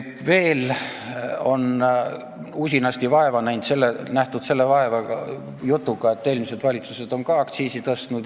Veel on usinasti vaeva nähtud selle jutuga, et eelmised valitsused on ka aktsiisi tõstnud.